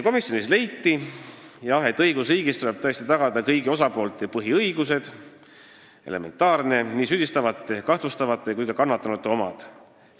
Komisjonis leiti, et see on elementaarne, et õigusriigis tuleb tagada kõigi osapoolte põhiõigused: nii süüdistatavate, kahtlustatavate kui ka kannatanute omad.